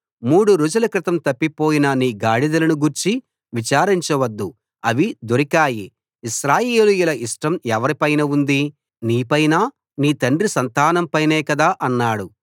మూడు రోజుల క్రితం తప్పిపోయిన నీ గాడిదలను గూర్చి విచారించవద్దు అవి దొరికాయి ఇశ్రాయేలీయుల ఇష్టం ఎవరి పైన ఉంది నీపైనా నీ తండ్రి సంతానం పైనే కదా అన్నాడు